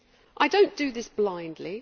I do not do this blindly.